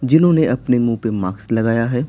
जिन्होंने अपने मुंह पर मार्क्स लगाया है।